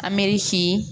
A mɛris